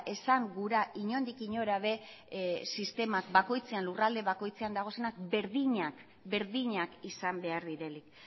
esan gura inondik inora ere sistema bakoitzean lurralde bakoitzean daudenak berdinak izan behar direnik